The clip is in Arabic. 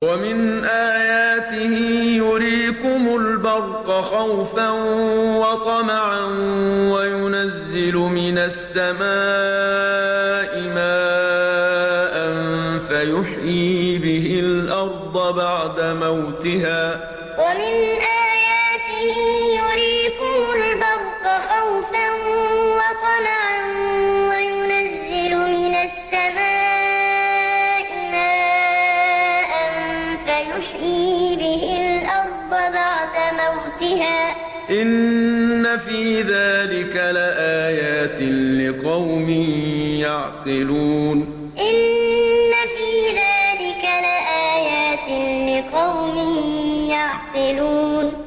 وَمِنْ آيَاتِهِ يُرِيكُمُ الْبَرْقَ خَوْفًا وَطَمَعًا وَيُنَزِّلُ مِنَ السَّمَاءِ مَاءً فَيُحْيِي بِهِ الْأَرْضَ بَعْدَ مَوْتِهَا ۚ إِنَّ فِي ذَٰلِكَ لَآيَاتٍ لِّقَوْمٍ يَعْقِلُونَ وَمِنْ آيَاتِهِ يُرِيكُمُ الْبَرْقَ خَوْفًا وَطَمَعًا وَيُنَزِّلُ مِنَ السَّمَاءِ مَاءً فَيُحْيِي بِهِ الْأَرْضَ بَعْدَ مَوْتِهَا ۚ إِنَّ فِي ذَٰلِكَ لَآيَاتٍ لِّقَوْمٍ يَعْقِلُونَ